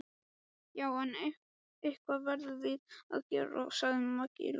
Já, en eitthvað verðum við að gera, sagði Maggi Lóu.